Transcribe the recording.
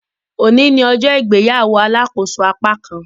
Òní ní ọjọ́ ìgbéyàwó alàkóso apákan